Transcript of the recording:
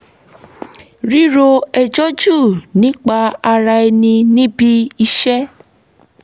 ríro ẹjọ́ jù nípa ara ẹni níbi iṣẹ́